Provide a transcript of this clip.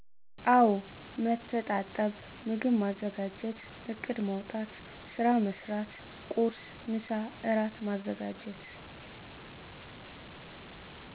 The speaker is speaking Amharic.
አወ መተጣጠብ ምግብ ማዘጋጀት እቅድ ማዉጣት ስራ መስራት ቁርስ፣ ምሳ፣ እራት ማዘጋጀት።